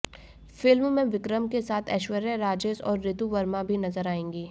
film में विक्रम के साथ ऐश्वर्या राजेश और रितु वर्मा भी नजर आएंगी